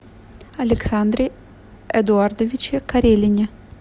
александре эдуардовиче карелине